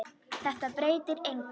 Þetta breytir engu.